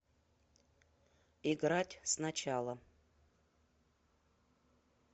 играть сначала